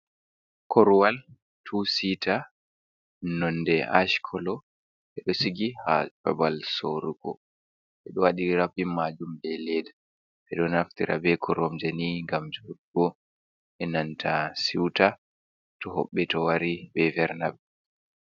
Korowal tuu sitaa nonde ash kolo ɓe ɗo sigi ha babal sorrugo, ɓe ɗo waɗi rapin majuum be leda, ɓe ɗo naftira be koromjeni ngam joɗugo be nanta suita to hoɓɓe wari ɓe vernaɓe.